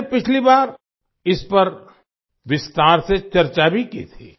मैंने पिछली बार इस पर विस्तार से चर्चा भी की थी